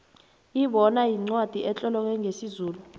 ibona yincwacli etloleke ngesizulu